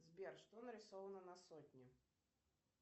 сбер что нарисовано на сотне